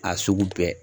A sugu bɛɛ